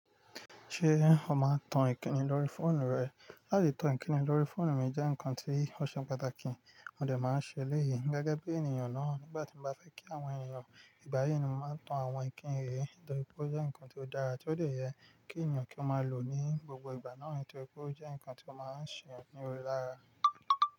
Ṣé o máa ń tan ìkínni lórí fóònù rẹ? Láti tan Ìkníni lórí fóònù mi jẹ́ nǹkan tí ó ṣe pàtàkì, mo dè máa ń ṣe eléyìí gẹ́gẹ́ bí ènìyàn náà. Nígbà tí mo bá fẹ́ kí àwọn ènìyàn ìgbà yí ni mo máa ń tan àwọn ìkíni yìí torí pé ó jẹ́ ǹkan tó dára tí ó lè yẹ kí ènìyàn kí ó máa lò ní gbogbo ìgbà náà torí pé ó jẹ́ ǹkan tí ó máa ń ṣe eyan ni ore lára.